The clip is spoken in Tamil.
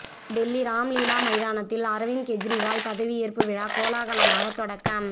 டெல்லி ராம்லீலா மைதானத்தில் அரவிந்த் கெஜ்ரிவால் பதவியேற்பு விழா கோலாகலமாக தொடக்கம்